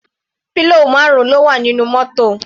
Pillow marun ló wà nínú mótò.